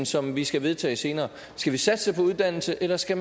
som vi skal vedtage senere skal vi satse på uddannelse eller skal